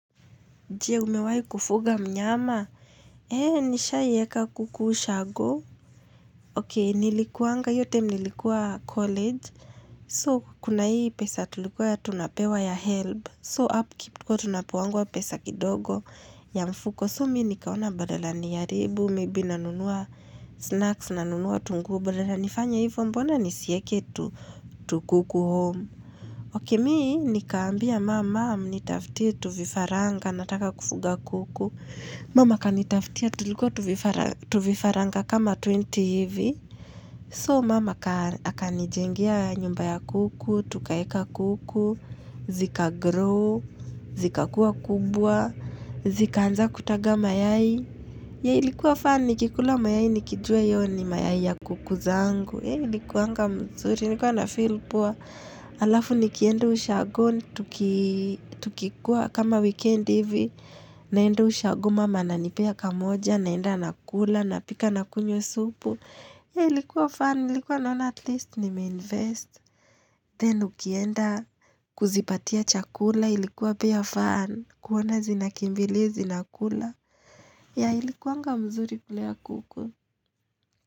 Je, umewai kufuga mnyama? He, nisha yeka kukushago. Oke, nilikuanga, hio time nilikuwa college. So, kuna hii pesa tulikuwa ya tunapewa ya help. So, hapu up keep tunapuangwa pesa kidogo ya mfuko. So, mi nikaona badala niyaribu, mibi na nunua snacks, na nunua tungu. Badala, nifanya hivyo mbona nisieke tu kuku home. Oke, mi nikaambia mama, mnitafti tu vifaranga, nataka kufuga kuku. Mama kanitaftia tulikuwa tuvifaranga kama 20 hivi. So mama haka nijengia nyumba ya kuku, tukaeka kuku, zika grow, zika kuwa kubwa, zika anza kutaga mayai. Ya ilikuwa fani kikula mayai nikijua yoni mayai ya kuku zangu. Hei likuanga mzuri, likuwa na feel poa. Alafu nikiendu ushago, tukikuwa kama weekend hivi. Naendo ushago mama na nipea kamoja, naenda nakula, napika nakunyo supu. Hei likuwa fun, likuwa naona at least nimeinvest. Then ukienda kuzipatia chakula, likuwa pia fun. Kuona zinakimbili, zinakula. Hei likuanga mzuri kulea kuku.